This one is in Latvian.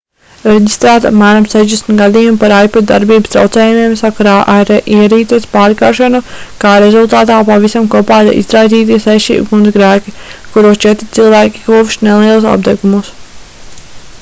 reģistrēti apmēram 60 gadījumi par ipod darbības traucējumiem sakarā ar ierīces pārkaršanu kā rezultātā pavisam kopā ir izraisīti seši ugunsgrēki kuros četri cilvēki guvuši nelielus apdegumus